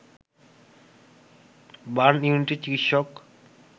burn ইউনিটের চিকিৎসক